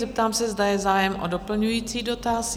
Zeptám se, zda je zájem o doplňující dotaz?